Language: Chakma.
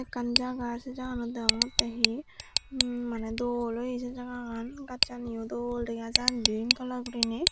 ekkan jagah sey jaganot deongonttey hi imm maneh dol oye se jaga an gazsaniyo dol dega jar grin kalar gurinei.